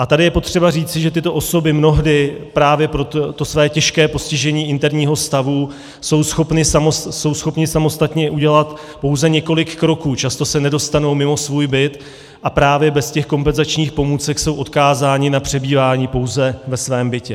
A tady je potřeba říci, že tyto osoby mnohdy právě pro to své těžké postižení interního stavu jsou schopny samostatně udělat pouze několik kroků, často se nedostanou mimo svůj byt a právě bez těch kompenzačních pomůcek jsou odkázány na přebývání pouze ve svém bytě.